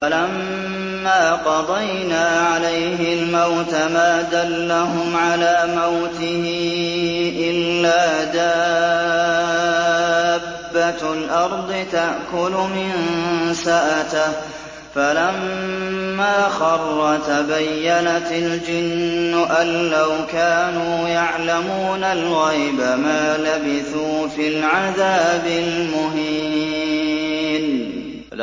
فَلَمَّا قَضَيْنَا عَلَيْهِ الْمَوْتَ مَا دَلَّهُمْ عَلَىٰ مَوْتِهِ إِلَّا دَابَّةُ الْأَرْضِ تَأْكُلُ مِنسَأَتَهُ ۖ فَلَمَّا خَرَّ تَبَيَّنَتِ الْجِنُّ أَن لَّوْ كَانُوا يَعْلَمُونَ الْغَيْبَ مَا لَبِثُوا فِي الْعَذَابِ الْمُهِينِ